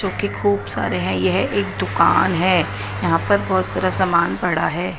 जोकि खूब सारे हैं यह एक दुकान है यहां पर बहोत सारा सामान पड़ा हुआ है।